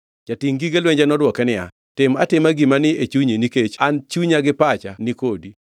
Jatingʼ gige lwenje nodwoke niya, “Tim atima gima ni e chunyi nikech an chunya gi pacha ni kodi.”